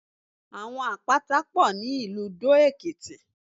Àwọn Àpáta pọ̀ ní ìlú Dó-Èkìtì.